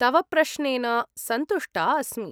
तव प्रश्नेन सन्तुष्टा अस्मि।